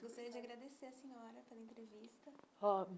Gostaria de agradecer à senhora pela entrevista.